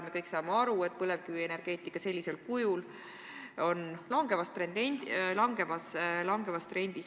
Me kõik saame aru, et põlevkivienergeetika sellisel kujul on langevas trendis.